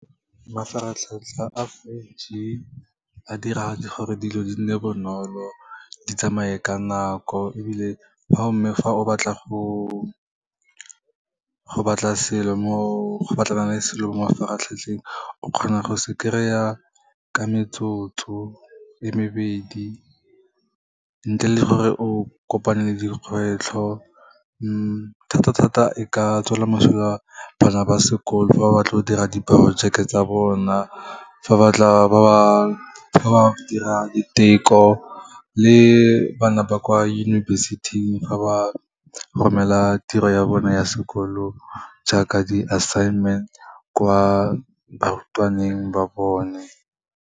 Mafaratlhatlha a five G, a dira gore dilo di nne bonolo, di tsamaye ka nako ebile fa mme, fa o batla go batlana le selo mo mafaratlhatlheng, o kgona go se kry-a ka metsotso e mebedi ntle le gore o kopane le dikgwetlho. Thata-thata e ka tswela mosola bana ba sekolo fa ba batla go dira diporojeke tsa bona, fa ba dira diteko le bana ba kwa yunibesithing, ga ba romela tiro ya bone ya sekolo, jaaka di-assignment kwa barutwaneng ba bone.